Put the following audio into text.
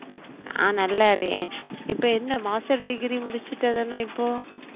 நா நல்லா இருக்கேன் இப்ப என்ன master degree முடிச்சுட்டதான இப்போ?